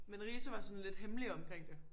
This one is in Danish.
Men Riise var sådan lidt hemmelig omkring det